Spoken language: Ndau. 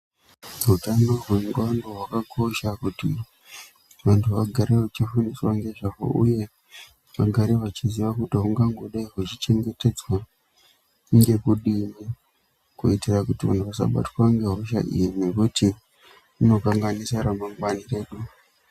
Utano hwendxondo hwakakosha kuti vantu vagarevechifundiswa ngezvahwo uye kuti vagare vachiziya hungangodai hwechichengetedzwa kunge kudini kuitira kuti vantu vasabatwe ngehosha iyi ngekuti inokanganise ramangwani redu.